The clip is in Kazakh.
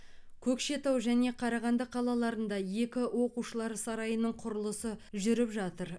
көкшетау және қарағанды қалаларында екі оқушылар сарайының құрылысы жүріп жатыр